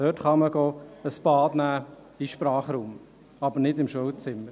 Dort kann man ein Bad nehmen, im Sprachraum, aber nicht im Schulzimmer.